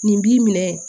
Nin b'i minɛ